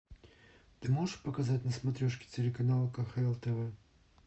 ты можешь показать на смотрешке телеканал кхл тв